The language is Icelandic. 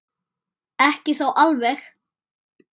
Ekki þó alveg.